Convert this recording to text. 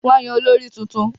Wọ́n yàn olórí tuntun